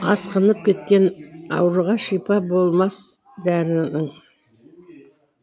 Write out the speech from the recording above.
асқынып кеткен ауруға шипа болмас дәрінің